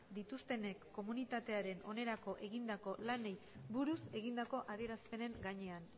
dituztenek komunitatearen onerako egindako lanei buruz egindako adierazpenen gainean